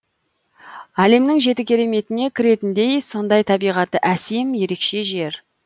әлемнің жеті кереметіне кіретіндей сондай табиғаты әсем ерекше жер